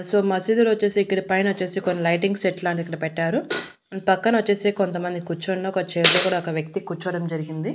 So మసీదులో వచ్చేసి ఇక్కడ పైన వచ్చేసి కొన్ని లైటింగ్ సెట్ లాంటిది ఇక్కడ పెట్టారు పక్కన వచ్చేసి కొంతమంది కూర్చున్న ఒక వ్యక్తి చైర్ లో కూడా ఒక వ్యక్తి కూర్చోవడం జరిగింది.